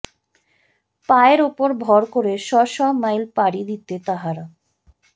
পায়ের ওপর ভর করে শ শ মাইল পারি দিতে তাঁহারা